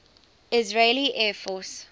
israeli air force